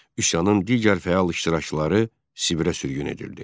Üsyanın digər fəal iştirakçıları Sibirə sürgün edildi.